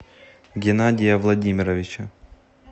генадия владимировича